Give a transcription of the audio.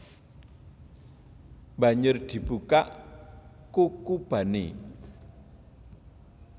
Banjur dibukak kukubané